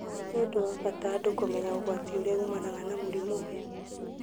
Nĩ ũndũ wa bata andũ kũmenya ũgwati ũrĩa umanaga na mũrimũ ũyũ